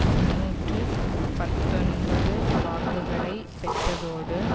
முன்னூற்று பத்தொன்பது வாக்குகளை பெற்றதோடு